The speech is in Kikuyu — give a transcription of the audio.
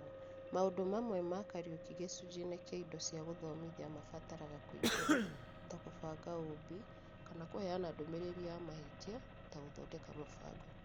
Maũndũ mamwe ma Kariuki gĩcunjĩ-inĩ kĩa Indo cia Gũthomithia mabataraga kũingĩra (ta, kũbanga ũũmbi ) kana kũheana ndũmĩrĩri ya mahĩtia (ta, Gũthondeka Mũbango).